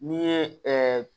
N'i ye ɛɛ